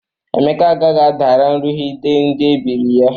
Emeka agaghị adara nrughide ndị ebiri ya.